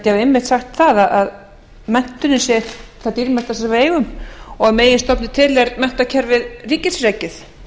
einmitt sagt það að menntunin sé það dýrmætasta sem við eigum og að meginstofni til er menntakerfið ríkisrekið